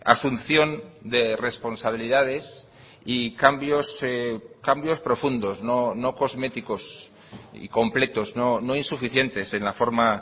asunción de responsabilidades y cambios cambios profundos no cosméticosy completos no insuficientes en la forma